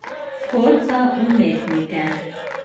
Vhod za umetnike.